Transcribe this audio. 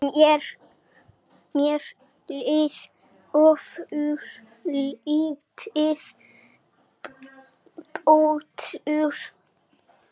Mér leið ofurlítið betur.